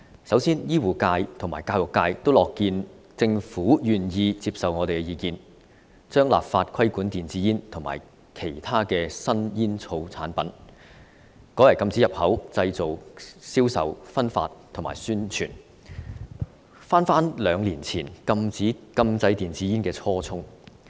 首先，醫護界及教育界均樂見政府願意接受我們的意見，將立法規管電子煙及其他新煙草產品，改為禁止入口、製造、銷售、分發及宣傳，回到我們兩年前提出禁制電子煙的初衷。